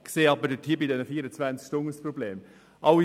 Ein Problem sehe ich aber bei den 24 Stunden.